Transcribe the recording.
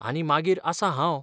आनी मागीर आसां हांव!